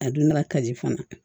A donna kaji fana